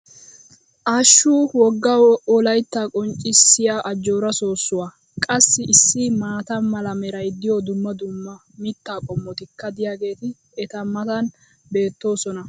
hashshu woga wolayttaa qonccissiya ajjoora soossuwa! qassi issi maata mala meray diyo dumma dumma mitaa qommotikka diyaageeti eta matan beetoosona